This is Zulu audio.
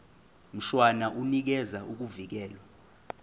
mshwana unikeza ukuvikelwa